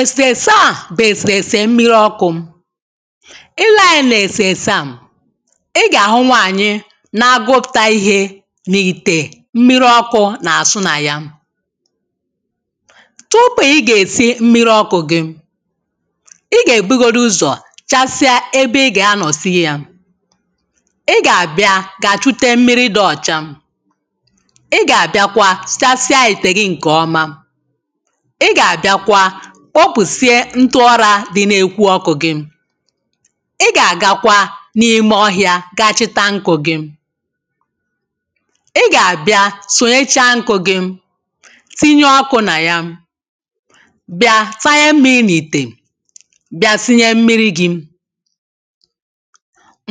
ẹ̀sẹ̀rẹse à bụ̀ ẹ̀sẹ̀rẹse mmīrī okụ̄ ị lee anyā nà ẹ̀sẹ̀rẹse a ị gà àhụ nwànyị nā gwopùta ihe n’ìtè mmīrī ọkụ̄ nà àsụ nà yā tupu ị gà èsi mmīrī ọkụ̄ gị ị gà èbugodu ụzọ̀ chasịa ebe ị gà anọ̀ sie yā ị gà àbịa kàchute mmiri dị ọ̀cha ị gà àbịakwa sachasịa ìte gị ǹ̇kẹ ọma ị gà àbịakwa kpopùsia ntụ urā dị n’ekwu ọkụ̄ gị̄ ị gà àgakwa n’ime ọhịā ga chịta nkụ̄ gị̄ ị gà àbịa sùnyecha nkụ̄ gị̄ tinye ọkū nà yā bị̀a tanye mmiri n’ite bịa sinye mmirī gị̄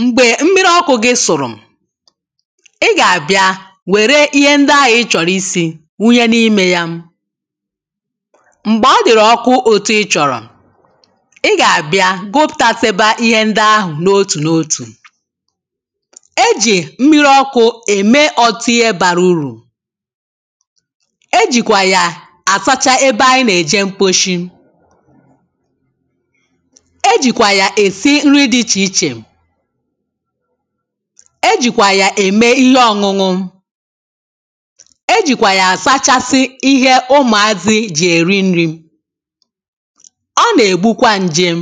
m̀gbẹ̀ mmiri ọkụ̄ gị sụ̀rụ̀ ị gà àbịa wẹ̀rẹ̀ ihe ndị ahụ̀ ị chọ̀rọ̀ isī wunye n’imē yā m̀gbẹ̀ ọ dị̀rị̀ ọkụ etui ̣ chọ̀rọ̀ ị gà àbịa gụpụ̀tasịba ihe ndị ahụ̀ n’otù n’otù e jị̀ mmiri ọkụ̄ ème ọtụtụ ihẹ̄ bara urù e jị̀kwà yà à sacha ebe anyị nà èje mkposhi e jị̀kwà yà èsi nri dị ichè ichè e jị̀kwà yà ème ihe ọñuñụ e jị̀kwà yà àsachasi ihẹ ụmụ̀ azị jị èri nrī ọ nà ègbukwa ǹjèm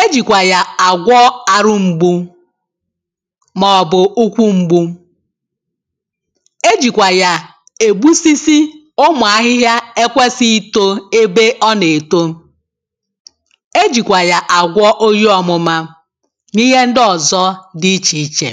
e jị̀kwà yà àgwọ àrụ m̀gbu mà ọ̀ bụ̀ ụkwụ mgbu e jị̀kwà yà è gbusisi ụmụ̀ ahịhịa ẹ kwẹsịghị itō ebe ọ nà èto e jị̀kwà yà àgwọ oyi ọmụma nà ihe ndị òzọ dị ichè ichè